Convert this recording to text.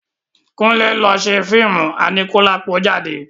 Kúnlẹ́ ló ṣe fíìmù Aníkúlápó jáde.